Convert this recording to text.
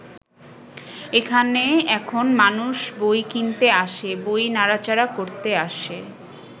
এখানে এখন মানুষ বই কিনতে আসে, বই নাড়া-চাড়া করতে আসে।